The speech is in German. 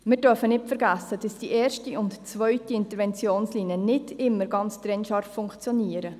Wir dürfen nicht vergessen, dass die erste und die zweite Interventionslinie nicht immer ganz trennscharf funktionieren.